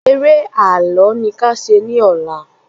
Eré ààlọ́ ni kí a ṣe ní ọ̀la